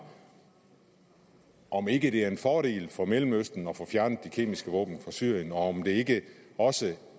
om ikke det er en fordel for mellemøsten at få fjernet de kemiske våben fra syrien og om det ikke også